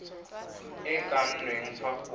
e kannweng fa go